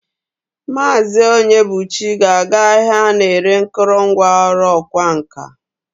Maazi Onyebuchi ga-aga ahia ana-ere nkurungwa oru okwa nka.